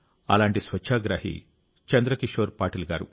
అలాంటి స్వచ్ఛాగ్రహి చంద్రకిషోర్ పాటిల్ గారు